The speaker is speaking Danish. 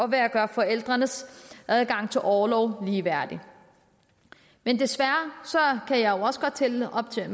ved at gøre forældrenes adgang til orlov ligeværdig men desværre kan jeg jo også godt tælle og se